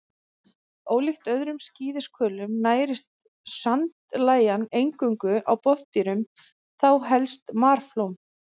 Ólíkt öðrum skíðishvölum nærist sandlægjan eingöngu á botndýrum, þá helst marflóm.